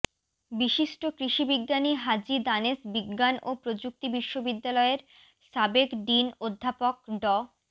বিশিষ্ট কৃষিবিজ্ঞানী হাজী দানেশ বিজ্ঞান ও প্রযুক্তি বিশ্ববিদ্যালয়ের সাবেক ডিন অধ্যাপক ড